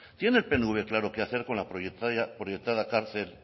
tiene el pnv claro qué hacer con la proyectada cárcel